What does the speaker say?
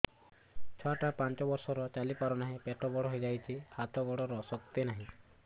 ଛୁଆଟା ପାଞ୍ଚ ବର୍ଷର ଚାଲି ପାରୁନାହଁ ପେଟ ବଡ ହୋଇ ଯାଉଛି ହାତ ଗୋଡ଼ର ଶକ୍ତି ନାହିଁ